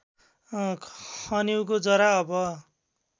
खनिउको जरा अब